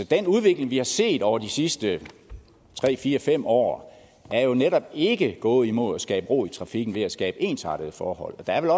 den udvikling vi har set over de sidste tre fire fem år er jo netop ikke gået imod at skabe ro i trafikken ved at skabe ensartede forhold og der er